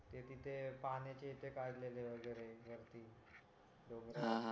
ते तिथे पाण्याची इथे कडलेले वगैरे रात्री डोंगरावर